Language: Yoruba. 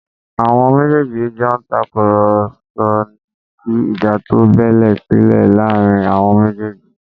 Àwọn méjèèjì jọ ń tàkùrọ̀sọ ni kí ìjà tó bẹ́ sílẹ̀ láàrin wọn lójijì